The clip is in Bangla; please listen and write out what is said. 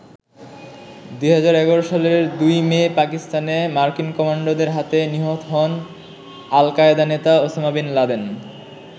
২০১১ সালের ২ মে পাকিস্তানে মার্কিন কমান্ডোদের হাতে নিহত হন আল-কায়দা নেতা ওসামা বিন লাদেন।